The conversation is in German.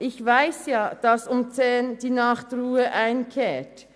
Ich weiss ja, dass um 22.00 Uhr Nachtruhe einkehrt.